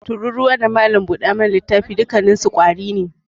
Tururuwa, mulmula kashi, da malam buda mana littafi dukkanninsu ƙwari ne.